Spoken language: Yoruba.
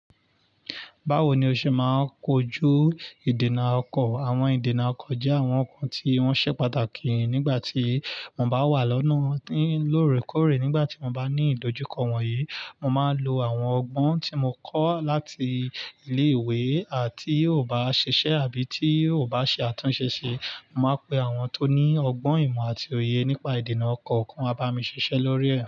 Báwo ni o ṣe máa ń kojú ìdènà ọkọ̀? Àwọn ìdènà ọkọ̀ jẹ́ àwọn nǹkan tí wọ́n ṣe pàtàkì nígbà tí mo bá wà lọ́nà. Ní lóore kóòrè, nígbà tí mo bá ní ìdojúkọ wọ̀nyí, mo máa ń lo àwọn ọgbọ́n tí mo kọ́ láti ilé ìwé tí ò bá ṣiṣẹ́ àbí tí ò bá ṣe àtúnṣe ṣe, màá pe àwọn tó ní ọgbọ́n ìmọ̀ àti òye nípa ìdènà ọkọ̀ k'ọ́n wá bá mi ṣiṣẹ́ lórí ẹ̀.